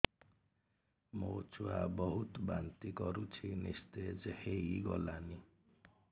ମୋ ଛୁଆ ବହୁତ୍ ବାନ୍ତି କରୁଛି ନିସ୍ତେଜ ହେଇ ଗଲାନି